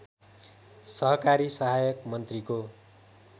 सहकारी सहायक मन्त्रीको